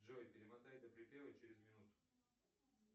джой перемотай до припева через минуту